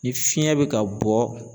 Ni fiɲɛ bɛ ka bɔ